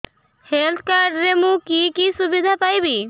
health card ରେ ମୁଁ କି କି ସୁବିଧା ପାଇବି